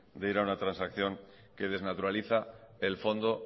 de ir a una transacción que desnaturaliza el fondo